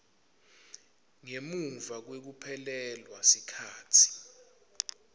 ngemuva kwekuphelelwa sikhatsi